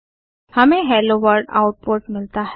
हमें hello world output मिलता है